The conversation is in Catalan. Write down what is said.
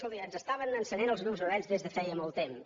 escolti ens estaven encenen els llums vermells des de feia molt temps